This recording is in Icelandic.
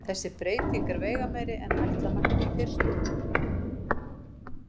Þessi breyting er veigameiri en ætla mætti í fyrstu.